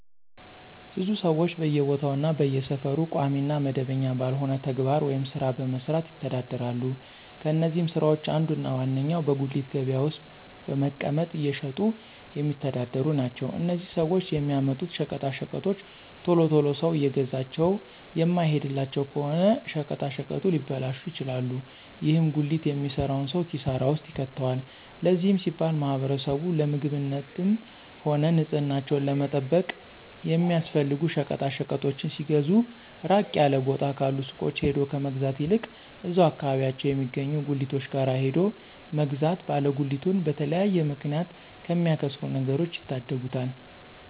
ብዙ ሰወች በየቦታው እና በየሰፈሩ ቋሚ እና መደበኛ ባልሆነ ተግባር ወይም ስራ በመስራት ይተዳደራሉ። ከነዚህም ስራወች አንዱ እና ዋነኛው በጉሊት ገበያ ውስጥ በመቀመጥ እየሸጡ የሚተዳደሩ ናቸው። እነዚህም ሰወች የሚያመጡት ሸቀጣሸቀጦች ቶሎ ቶሎ ሰው እየገዛቸው የማይሄድላቸው ከሆነ ሸቀጣሸቀጡ ሊበላሹ ይችላሉ። ይህም ጉሊት የሚሰራውን ሰው ኪሳራ ውስጥ ይከተዋል። ለዚህም ሲባል ማህበረሰቡ ለምግብነትም ሆነ ንፅህናቸውን ለመጠበቅ የሚያስፈልጉ ሸቀጣሸቀጦችን ሲገዙ ራቅ ያለ ቦታ ካሉ ሱቆች ሄዶ ከመግዛት ይልቅ እዛው አከባቢያቸው የሚገኙ ጉሊቶች ጋር ሄዶ መግዛት ባለ ጉሊቱን በተለያየ ምክንያት ከሚያከስሩት ነገሮች ይታደጉታል።